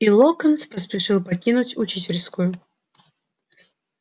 и локонс поспешил покинуть учительскую